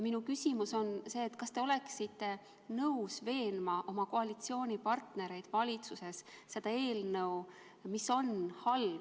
Minu küsimus on see: kas te oleksite nõus veenma oma koalitsioonipartnereid valitsuses seda eelnõu tagasi kutsuma?